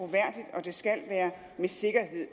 at det skal være med sikkerhed